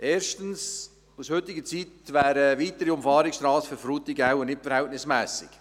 Erstens: Aus heutiger Sicht wäre eine weitere Umfahrungsstrasse für Frutigen wohl nicht verhältnismässig.